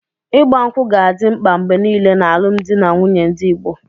Ịgba ṅkwú ga-adị mkpa mgbe nile n'alụmdi na nwunye ndị Igbo.